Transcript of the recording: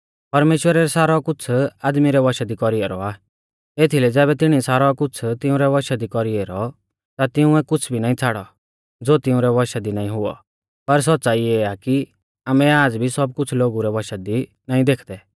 परमेश्‍वरै सारौ कुछ़ आदमी रै वशा दी कौरी ऐरौ आ एथीलै ज़ैबै तिणीऐ सारौ कुछ़ तिउंरै वशा दी कौरी ऐरौ ता तिंउऐ कुछ़ भी नाईं छ़ाड़ौ ज़ो तिउंरै वशा दी नाईं हुऔ पर सौच़्च़ाई इऐ आ कि आमै आज़ भी सब कुछ़ लोगु रै वशा दी नाईं देखदै